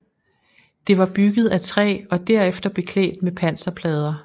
Det var bygget af træ og derefter beklædt med panserplader